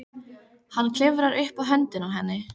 Hann klifrar upp á höndina á henni.